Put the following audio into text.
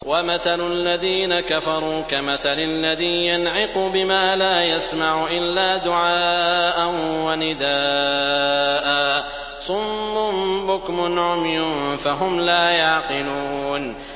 وَمَثَلُ الَّذِينَ كَفَرُوا كَمَثَلِ الَّذِي يَنْعِقُ بِمَا لَا يَسْمَعُ إِلَّا دُعَاءً وَنِدَاءً ۚ صُمٌّ بُكْمٌ عُمْيٌ فَهُمْ لَا يَعْقِلُونَ